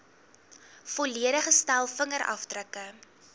volledige stel vingerafdrukke